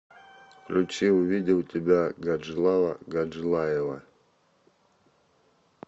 включи увидел тебя гаджилава гаджилаева